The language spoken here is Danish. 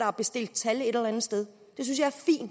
har bestilt tal et eller andet sted